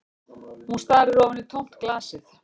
Hún starir ofan í tómt glasið